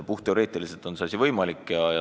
Puhtteoreetiliselt on see asi võimalik.